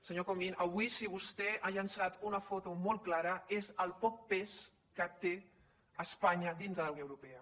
senyor comín avui si vostè ha llençat una foto molt clara és el poc pes que té espanya dintre de la unió europea